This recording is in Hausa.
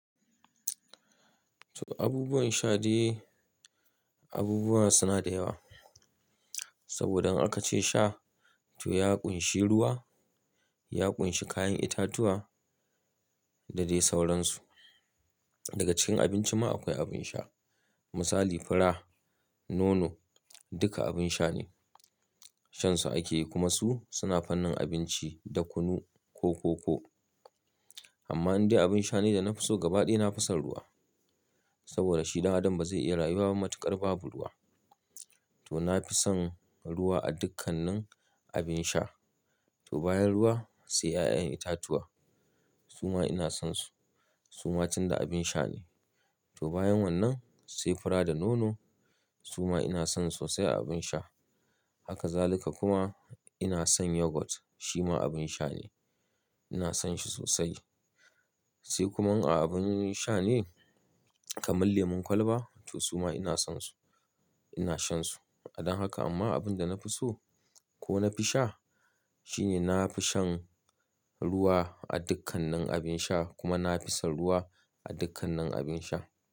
To abubuwan sha dai abubuwa suna da yawa. Saboda in aka ce sha, to ya ƙunshi ruwa, ya ƙunshi kayan itatuwa da dai sauransu. Daga cikin abinci ma akwai abin sha. Misali fura, nono duka abin sha ne. Shansu ake yi kuma su suna fanin abinci da kunu ko koko. Amma in dai abin sha ne da na fi so gaba ɗaya na fi son ruwa. Saboda shi dan adam ba zai iya rayuwa matuƙar babu ruwa. To na fi son ruwa a dukkanin abin sha. To bayan ruwa sai ƴaƴan itatuwa su ma ina son su. Su ma tun da abin sha ne. To bayan wannan sai fura da nono su ma ina son su sosai a abin sha. Haka zalika kuma ina son yogurt shi ma abin sha ne. Ina son shi sosai. Sai kuma a abin sha ne kamar lemon kwalba to su ma ina son su. Ina shan su. A don haka amma abin da na fi so ko na fi sha shine na fi shan ruwa a dukkanin abin sha kuma na fi son ruwa a dukkanin abin sha.